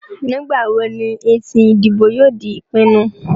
Nígbà wo ni èsì ìdìbò yóò di ìpinnu?